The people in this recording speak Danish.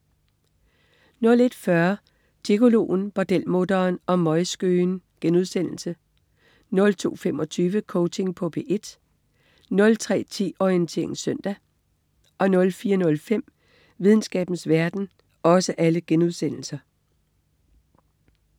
01.40 Gigoloen, bordelmutteren og møgskøen* 02.25 Coaching på P1* 03.10 Orientering søndag* 04.05 Videnskabens verden*